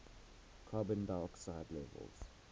carbon dioxide levels